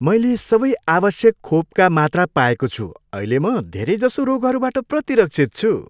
मैले सबै आवश्यक खोपका मात्रा पाएको छु। अहिले म धेरैजसो रोगहरूबाट प्रतिरक्षित छु।